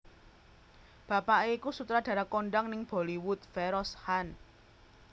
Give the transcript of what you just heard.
Bapaké iku sutradara kondhang ning Bollywood Feroz Khan